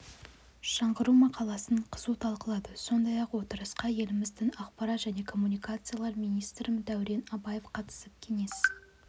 жаңғыру мақаласын қызу талқылады сондай-ақ отырысқа еліміздің ақпарат және коммуникациялар министрі дәурен абаев қатысып кеңес